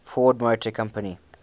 ford motor company